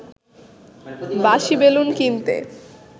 বাঁশিবেলুন কিনতে